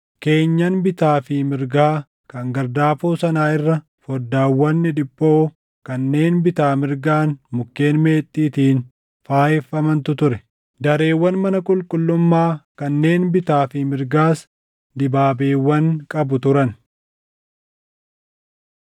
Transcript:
Keenyan bitaa fi mirgaa kan gardaafoo sanaa irra foddaawwan dhidhiphoo kanneen bitaa mirgaan mukkeen meexxiitiin faayeffamantu ture. Dareewwan mana qulqullummaa kanneen bitaa fi mirgaas dibaabeewwan qabu turan.